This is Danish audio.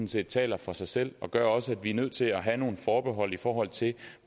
set taler for sig selv og det gør også at vi er nødt til at have nogle forbehold i forhold til